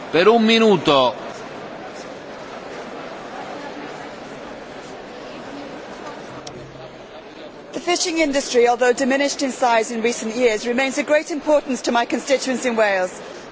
Mr President, the fishing industry, although diminished in size in recent years, remains of great importance to my constituents in Wales in terms of its contribution to employment and to the wider economy, which is why I welcome the report on the European Fisheries Fund.